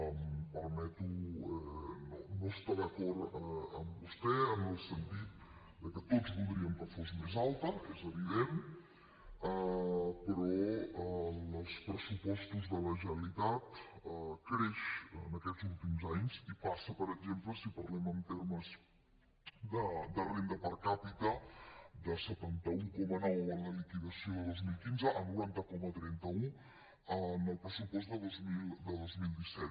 em permeto no estar d’acord amb vostè en el sentit de que tots voldríem que fos més alta és evident però als pressupostos de la generalitat creix en aquests últims anys i passa per exemple si parlem en termes de renda per capita de setanta un coma nou en la liquidació de dos mil quinze a noranta coma trenta un en el pressupost de dos mil disset